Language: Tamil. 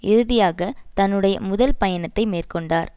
இறுதியாக தன்னுடைய முதல் பயணத்தை மேற்கொண்டார்